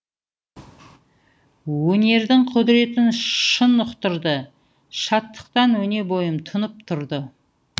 өнердің құдыретін шын ұқтырды шаттықтан өне бойым тұнып тұрды